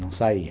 Não saía.